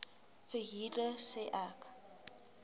verhuurder sê ek